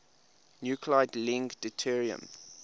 nuclide link deuterium